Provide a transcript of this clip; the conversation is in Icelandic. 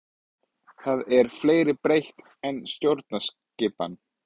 Það er fleira breytt en stjórnskipan.